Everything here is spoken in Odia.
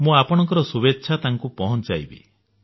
ମୁଁ ଆପଣଙ୍କ ଶୁଭେଚ୍ଛା ତାଙ୍କୁ ପହଞ୍ଚାଇବି